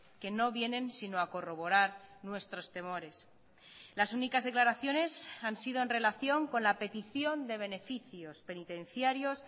que no vienen sino a corroborar nuestros temores las únicas declaraciones han sido en relación con la petición de beneficios penitenciarios